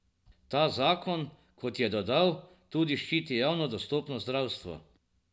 Ta zakon, kot je dodal, tudi ščiti javno dostopno zdravstvo.